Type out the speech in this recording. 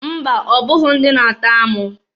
Mba! Ọbụghị ndị na-atọ amụ.